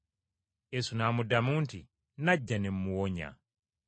Yesu n’amuddamu nti, “Nnajja ne mmuwonya.”